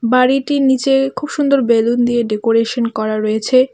বাড়িটির নীচে খুব সুন্দর বেলুন দিয়ে ডেকোরেশন করা রয়েছে.